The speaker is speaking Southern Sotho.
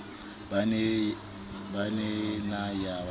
ba ne na ye ba